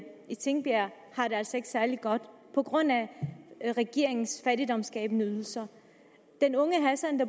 i tingbjerg har det altså ikke særlig godt på grund af regeringens fattigdomsskabende ydelser den unge hassan